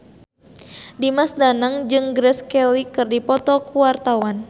Dimas Danang jeung Grace Kelly keur dipoto ku wartawan